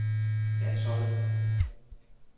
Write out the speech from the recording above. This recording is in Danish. landsholdet